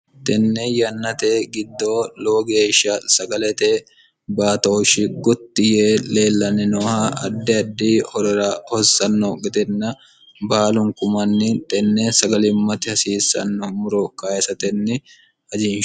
tenne yannate giddoo loo geeshsha sagalete baatooshshi gutti yee leellanni nooha addi addi horora hossanno gedenna baalunku manni tenne sagalimmatti hasiissanno muro kayisatenni hajiinshe